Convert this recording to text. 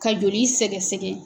Ka joli sɛgɛsɛgɛ.